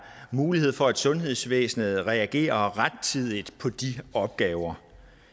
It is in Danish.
mulighed for at sundhedsvæsenet reagerer rettidigt på de opgaver